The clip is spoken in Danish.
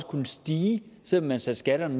kunne stige selv om man satte skatterne